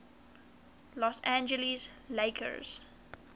los angeles lakers